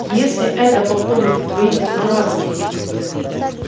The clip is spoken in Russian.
если это по поводу твоих дурацких